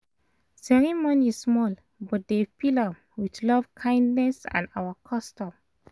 ceremony small but dem fill am with love kindness and our custom